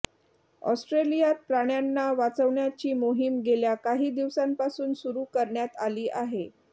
ऑस्ट्रेलियात प्राण्यांना वाचवण्याची मोहीम गेल्या काही दिवसांपासून सुरू करण्यात आली आहे